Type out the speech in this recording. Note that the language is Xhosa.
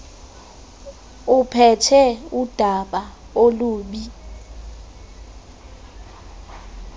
uphethe udaba olubi